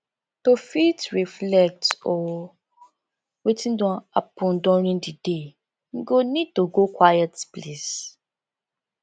to fit reflect o wetin don happen during di day im go need to go quiet place